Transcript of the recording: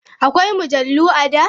Akwai mujallu a da?